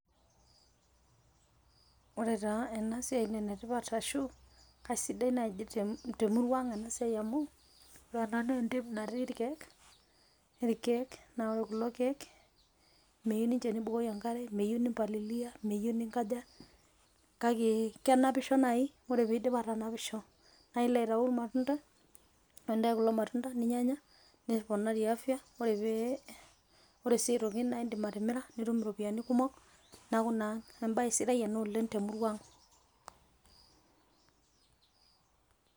Ore taa ena siai naa enetipat ashu keisidai naaji te murua ang ena siai amu, ore ena naa entim natii irkiek. Naa ore kulo kiek metieu ninche nibukoki enkare, meyieu ni mpalililia, meyieu ninkaja. kake kenapisho naaji ore pee idi aatanapisho nilo aitayu ilmatunda. Ore pee intayu kulo matunda ninyianya neponari afya. Ore pee , ore sii aitoki naa idim atimira nitum iropoyiani kumok. Niaku naa embae sida ena oleng te murua ang.